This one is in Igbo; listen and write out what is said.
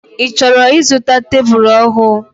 I chọrọ izụta tebụl ọhụụ?